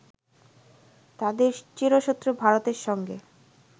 তাদের চিরশত্রু ভারতের সঙ্গে